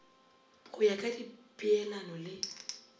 go ya ka dipeelano le